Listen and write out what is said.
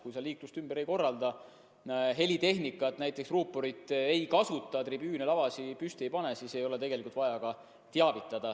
Kui sa liiklust ümber ei korralda, helitehnikat, näiteks ruuporit, ei kasuta, tribüüne ega lavasid püsti ei pane, siis ei ole tegelikult vaja üritusest teavitada.